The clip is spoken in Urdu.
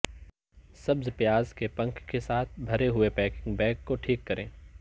سبز پیاز کے پنکھ کے ساتھ بھرے ہوئے پینکیک بیگ کو ٹھیک کریں